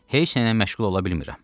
Heç nə ilə məşğul ola bilmirəm.